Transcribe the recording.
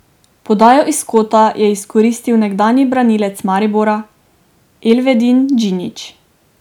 Podajo iz kota je izkoristil nekdanji branilec Maribora Elvedin Džinić.